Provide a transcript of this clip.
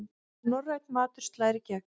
Norrænn matur slær í gegn